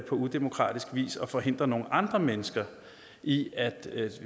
på udemokratisk vis og forhindre nogle andre mennesker i at